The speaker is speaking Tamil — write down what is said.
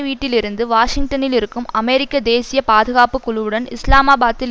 வீட்டில் இருந்து வாஷிங்டனில் இருக்கும் அமெரிக்க தேசிய பாதுகாப்பு குழுவுடனும் இஸ்லாமாபாத்தில்